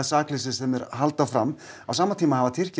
sakleysið sem þeir halda fram á sama tíma hafa Tyrkir